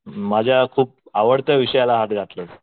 माझ्या खुप आवडत्या विषयाला हात घातलेला आहेस.